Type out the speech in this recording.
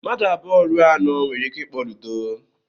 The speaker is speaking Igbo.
Mmadụ abụọ ruo anọ nwere ike ịkpọ Ludo.